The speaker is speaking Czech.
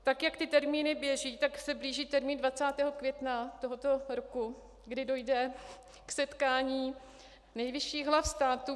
Tak jak ty termíny běží, tak se blíží termín 20. května tohoto roku, kdy dojde k setkání nejvyšších hlav státu.